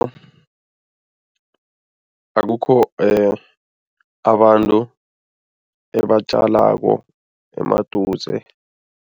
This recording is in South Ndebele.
Akukho abantu ebatjalako emaduze.